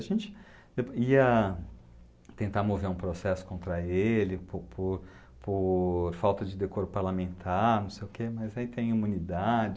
A gente ia tentar mover um processo contra ele por por por falta de decoro parlamentar, mas aí tem imunidade.